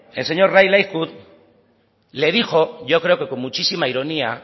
el señor le dijo y yo creo que con muchísima ironía